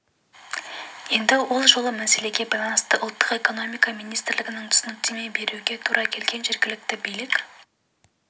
еді ол жолы да мәселеге байланысты ұлттық экономика министрлігіне түсініктеме беруге тура келген жергілікті билік